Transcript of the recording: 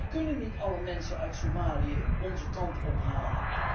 Wij kunnen niet alle mensen uit Somalië onze kant ophalen.